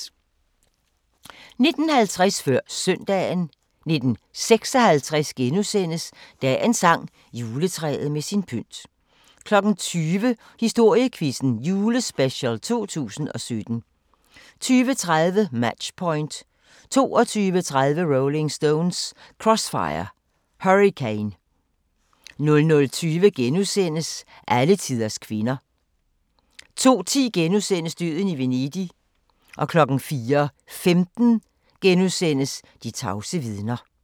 19:50: Før Søndagen 19:56: Dagens sang: Juletræet med sin pynt * 20:00: Historiequizzen Julespecial 2017 20:30: Match Point 22:30: Rolling Stones: Crossfire Hurricane 00:20: Alletiders kvinder * 02:10: Døden i Venedig * 04:15: De tavse vidner *